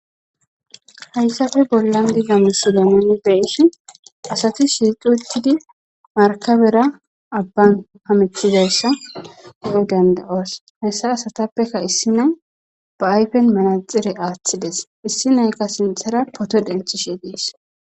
Hayssafe bollan digamusidanni beyissi asati shirquetidi markabera abban hamethizayssa de'oy danda'oos hessa asatappeka issi nay ba aypen manaxire aaththides issi nayka sinthara poto denthishe gies.